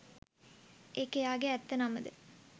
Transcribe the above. ඒක එයාගෙ ඇත්ත නම ද